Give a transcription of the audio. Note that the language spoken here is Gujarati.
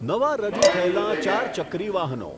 નવા રજૂ થયેલાં ચારચક્રી વાહનો